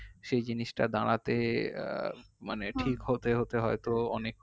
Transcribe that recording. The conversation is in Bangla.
সেই জিনিসটা দাঁড়াতে আহ মানে ঠিক হতে হতে হয়তো অনেক